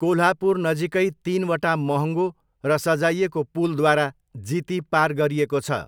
कोल्हापुर नजिकै तिनवटा महँगो र सजाइएको पुलद्वारा जिती पार गरिएको छ।